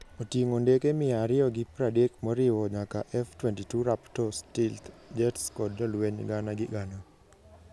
Oting'o ndeke mia ariyo gi pradek moriwo nyaka F-22 Raptor stealth jets kod jolweny gana gi gana.